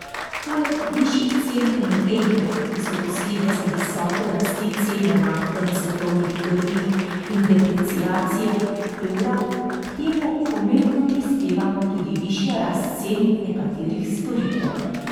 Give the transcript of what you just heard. Poleg višjih cen energentov, ki so posledica visoke rasti cene nafte na svetovnih trgih in depreciacije evra, k temu pomembno prispeva tudi višja rast cen nekaterih storitev.